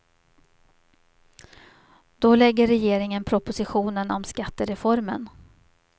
Då lägger regeringen propositionen om skattereformen.